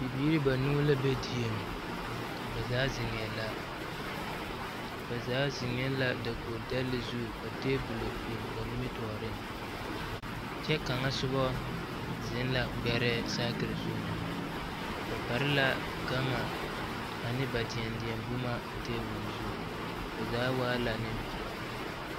Bibiiri banuu la be dieŋ ba zaa zeŋɛɛ la ba zaa zeŋɛɛ la dakogi dɛle zu ka tebolo biŋ ba nimitɔɔreŋ kyɛ kaŋa soba zeŋ la gbɛrɛɛ sakiri zuŋ ba pare la gama ane ba deɛdeɛ boma a tebol zu ba zaa waa la nempeɛle.